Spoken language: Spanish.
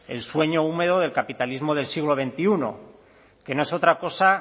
el sueño húmedo del capitalismo del siglo veintiuno que no es otra cosa